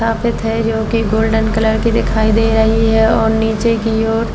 है जोकि golden colour की दिखाई दे रही है और निचे की ओर --